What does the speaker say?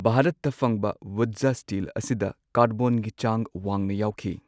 ꯚꯥꯔꯠꯇ ꯐꯪꯕ ꯋꯨꯠꯖ ꯁ꯭ꯇꯤꯜ ꯑꯁꯤꯗ ꯀꯥꯔꯕꯣꯟꯒꯤ ꯆꯥꯡ ꯋꯥꯡꯅ ꯌꯥꯎꯈꯤ꯫